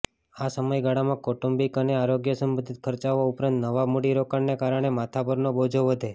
આ સમયગાળામાં કૌટુંબિક અને આરોગ્ય સંબંધિત ખર્ચાઓ ઉપરાંત નવા મૂડીરોકાણને કારણે માથા પરનો બોજો વધે